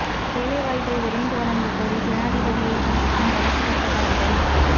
வேலை வாய்ப்பை விரைந்து வழங்கக் கோரி ஜனாதிபதியை சந்திக்கும் வடக்கு பட்டதாரிகள்